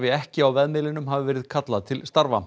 ekki á vefmiðlinum hafi verið kallað til starfa